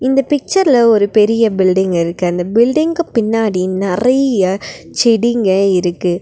இந்த பிச்சர்ல ஒரு பெரிய பில்டிங் இருக்கு அந்த பில்டிங்கு பின்னாடி நெறைய செடிங்க இருக்கு.